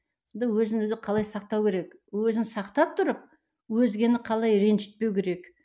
өзін өзі қалай сақтау керек өзін сақтап тұрып өзгені қалай ренжітпеу керек